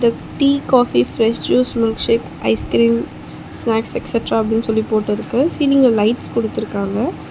Tea coffee fresh juice milkshake ice cream snacks extra அப்புடின்னு சொல்லி போட்டுருக்கு சீலிங்ல லைட்ஸ் குடுத்துருக்காங்க.